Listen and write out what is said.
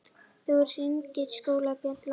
Þá hringdi skólabjallan.